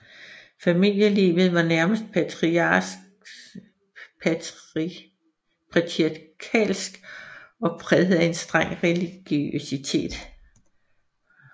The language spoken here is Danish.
Familielivet var nærmest patriarkalsk og præget af en streng religiøsitet